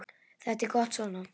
Þetta er gott svona.